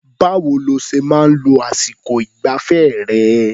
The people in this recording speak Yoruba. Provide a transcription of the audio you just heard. Báwo lo ṣe máa ń lo àsìkọ ìgbafẹ́ rẹ̀?